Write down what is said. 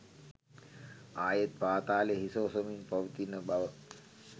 ආයෙත් පාතාලය හිස ඔසවමින් පවතින බව